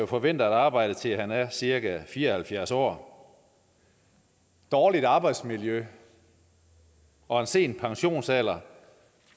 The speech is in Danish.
forvente at arbejde til han er cirka fire og halvfjerds år dårligt arbejdsmiljø og en sen pensionsalder